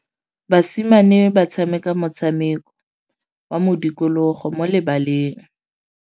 Basimane ba tshameka motshameko wa modikologô mo lebaleng.